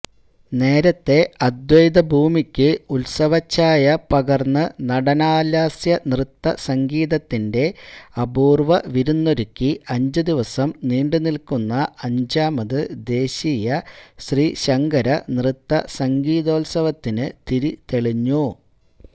നേരത്തെ അദ്വൈതഭൂമിക്ക് ഉത്സവഛായ പകര്ന്ന് നടനലാസ്യനൃത്തസംഗീതത്തിന്റെ അപൂര്വ്വവിരുന്നൊരുക്കി അഞ്ചുദിവസം നീണ്ടുനില്ക്കുന്ന അഞ്ചാമത് ദേശീയ ശ്രീശങ്കര നൃത്തസംഗീതോത്സവത്തിന് തിരി തെളിഞ്ഞു